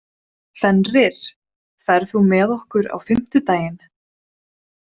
Fenrir, ferð þú með okkur á fimmtudaginn?